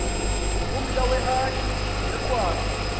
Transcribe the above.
ngumhla weehadi neegwali